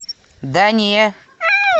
да не